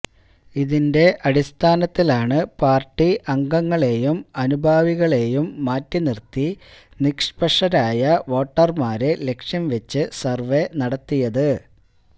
ഇതിന്റെ അടിസ്ഥാനത്തിലാണ് പാര്ട്ടി അംഗങ്ങളെയും അനുഭാവികളെയും മാറ്റി നിര്ത്തി നിഷ്പക്ഷരായ വോട്ടര്മാരെ ലക്ഷ്യം വെച്ച് സര്വേ നടത്തിയത്